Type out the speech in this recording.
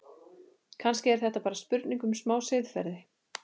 Kannski er þetta bara spurning um smá siðferði?